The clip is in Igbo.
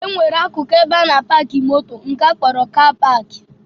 E nwere akụkụ ebe a na-apaakị moto nke akpọrọ 'kaa paakị'